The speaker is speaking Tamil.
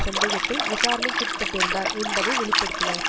சந்தேகத்தில் விசாரணைக்குட்பட்டிருந்தார் என்பதை வெளி படுத்தினார்